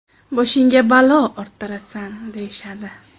Boshingga balo orttirasan’, deyishadi.